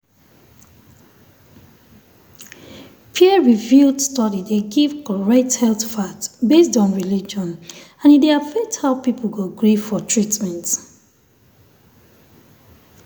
peer-reviewed study dey give correct health fact based on religion and e dey affect how people go gree for treatment.